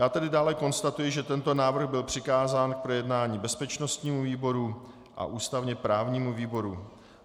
Já tedy dále konstatuji, že tento návrh byl přikázán k projednání bezpečnostnímu výboru a ústavně právnímu výboru.